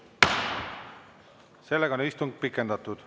Seega on istung pikendatud.